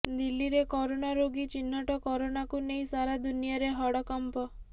ଦିଲ୍ଲୀରେ କୋରୋନା ରୋଗୀ ଚିହ୍ନଟ କୋରୋନାକୁ ନେଇ ସାରା ଦୁନିଆରେ ହଡ଼କମ୍ପ